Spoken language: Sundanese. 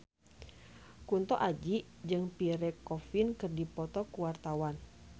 Kunto Aji jeung Pierre Coffin keur dipoto ku wartawan